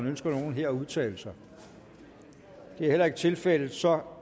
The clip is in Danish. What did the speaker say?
ønsker nogen her at udtale sig det er heller ikke tilfældet så